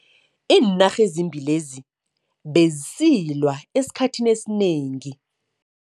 Iinarha ezimbili lezi bezisilwa esikhathini esinengi.